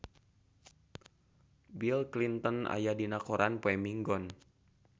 Bill Clinton aya dina koran poe Minggon